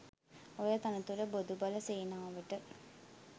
ඔය තනතුර බොදු බල සේනාවට